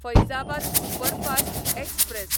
Faizabad superfast express